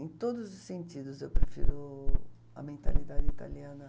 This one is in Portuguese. Em todos os sentidos, eu prefiro a mentalidade italiana.